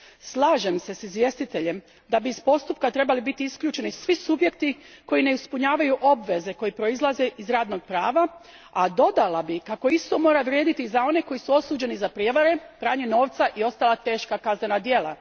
Slažem se s izvjestiteljem da bi iz postupka trebali biti isključeni svi subjekti koji ne ispunjavaju obveze koje proizlaze iz radnog prava, a dodala bih kako isto mora vrijediti za one koji su osuđeni za prijevare, pranje novca i ostala teška kaznena dijela.